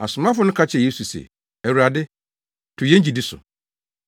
Asomafo no ka kyerɛɛ Yesu se, “Awurade, to yɛn gyidi so.”